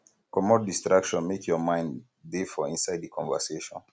comot distraction make your mind dey for inside di conversation